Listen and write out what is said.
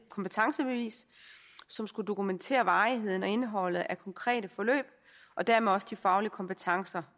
kompetencebevis som skulle dokumentere varigheden og indholdet af konkrete forløb og dermed også de faglige kompetencer